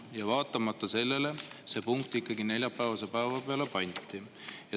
Aga vaatamata sellele pandi see punkt ikkagi neljapäevase päeva peale.